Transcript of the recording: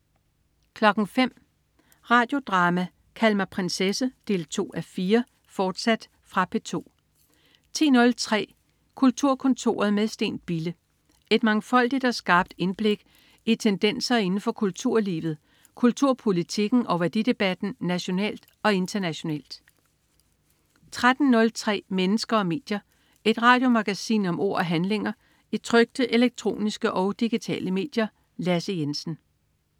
05.00 Radio Drama: Kald mig prinsesse 2:4, fortsat. Fra P2 10.03 Kulturkontoret med Steen Bille. Et mangfoldigt og skarpt indblik tendenser inden for kulturlivet, kulturpolitikken og værdidebatten nationalt og internationalt 13.03 Mennesker og medier. Et radiomagasin om ord og handlinger i trykte, elektroniske og digitale medier. Lasse Jensen